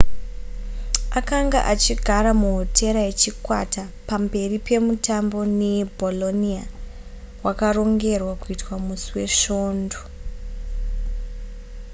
akanga achigara muhotera yechikwata pamberi pemutambo nebolonia wakarongerwa kuitwa musi wesvondo